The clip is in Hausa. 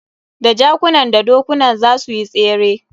Da jakunan da dokunan za suyi tsere.